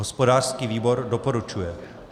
Hospodářský výbor doporučuje.